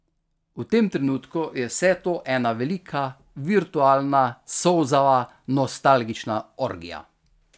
V tem trenutku je vse to ena velika virtualna solzava nostalgična orgija.